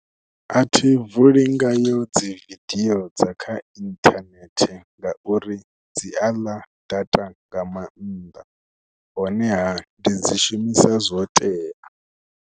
A thi vuli ngayo dzi vidio dza kha inthanethe ngauri dzi a ḽa data nga maanḓa honeha ndi dzi shumisa zwo tea.